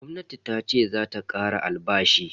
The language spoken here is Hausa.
Gwamnati tace zata kara albashi.